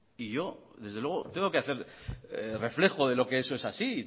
y yo desde luego tengo que hacer reflejo de lo que eso es así